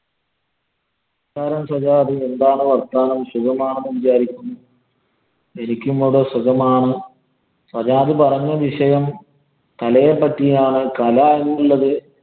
പറ സജാദ്, എന്താണ് വര്‍ത്താനം. സുഖമാണെന്ന് വിചാരിക്കുന്നു. എനിക്കും ഇവിടെ സുഖമാണ്. സജാദ് പറഞ്ഞ വിഷയം കലയെ പറ്റിയാണ്. കല എന്നുള്ളത്